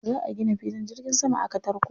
Za a gina filin jirgin sama a Katarko.